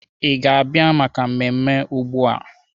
Ị ga-abịa maka mmemme ugbu a?